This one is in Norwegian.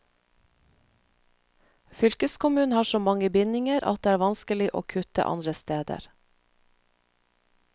Fylkeskommunen har så mange bindinger at det er vanskelig å kutte andre steder.